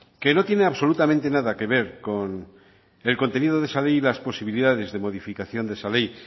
que no tiene absolutamente nada que ver con el contenido de esa ley y las posibilidades de modificación de esa ley